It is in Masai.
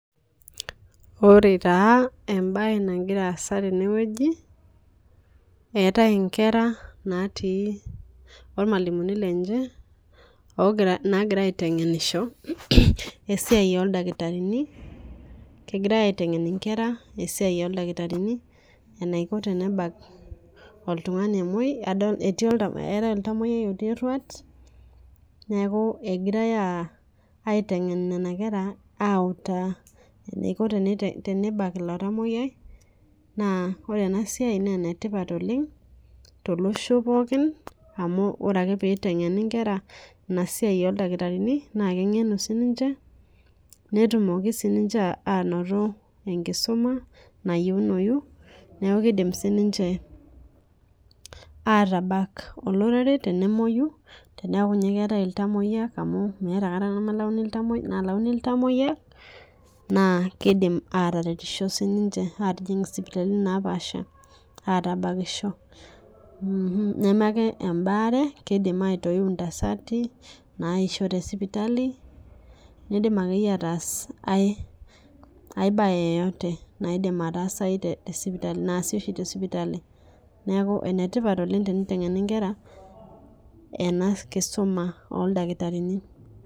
Ore taa ebae nagira aasa teneweji etae inkera naati ormalimuni lenye nagira aiteng'enisho esiai oo ildakitarini. Kegirai aiteng'en inkera esiai oo ildakitarini enaiko tenebak oltung'ani omoi. Etae oltamuyai omoi looti eruat neeku egirai aiteng'en nena kera autaa eniko tenebak ilo tamoiyai naa ore ena siai naa ene tipat oleng' tolosho pookin amu ore ake pee iteng'eni inkera ina siai oo ildakitarini naa keng'enu sii ninche , netumoki sii ninche anoto enkisuma nayounoi neeku kidim sii ninch atabak olorere tenemoi. Teneeku ninye keetae iltamoyia amu meeta aikata enkata nalauni nemelauni iltamoyia naa kidim ataretisho sii ninche atijing' isipitalini naapasha atakisho. Neme ake ebare kidim aitoyu intasati naisho te sipitali. Kidim akeyie ataas ae bae yoyote naidim ataasa te sipitali naasi oshi te sipitali. Neeku ene tipat oleng' teniteng'eni inkera ena kisuma oo ildakitarini.